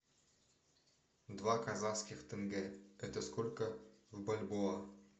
два казахских тенге это сколько в бальбоа